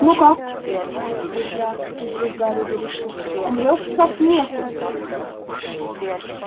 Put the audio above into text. ну как спросил малфой взяв из рук гарри вырезку умрёшь со смеху